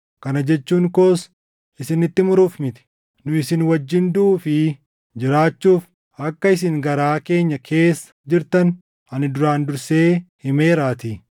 Kana jechuun koos isinitti muruuf miti; nu isin wajjin duʼuu fi jiraachuuf akka isin garaa keenya keessa jirtan ani duraan dursee himeeraatii.